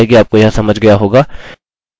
आशा है कि आपको यह समझ गया होगा